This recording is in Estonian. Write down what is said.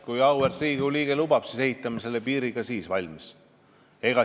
Kui auväärt Riigikogu liige lubab, siis ehitame selle piiri ka siis valmis.